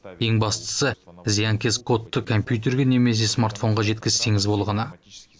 ең бастысы зиянкес кодты компьютерге немесе смартфонға жеткізсеңіз болғаны